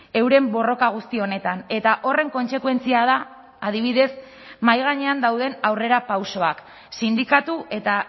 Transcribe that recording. euren borroka guzti honetan eta horren kontsekuentzia da adibidez mahai gainean dauden aurrerapausoak sindikatu eta